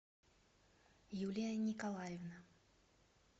юлия николаевна